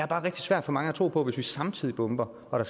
bare rigtig svært for mange at tro på hvis vi samtidig bomber og der